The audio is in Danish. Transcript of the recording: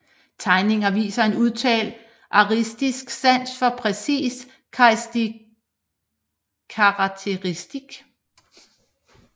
Tegninger viser en udtalt artistisk sans for præcis karakteristik